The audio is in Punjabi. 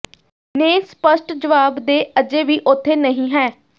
ਨੇ ਸਪਸ਼ਟ ਜਵਾਬ ਦੇ ਅਜੇ ਵੀ ਉਥੇ ਨਹੀ ਹੈ